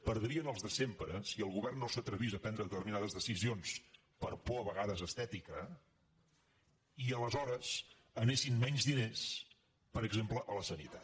per·drien els de sempre si el govern no s’atrevís a prendre determinades decisions per por a vegades estètica i aleshores anessin menys diners per exemple a la sani·tat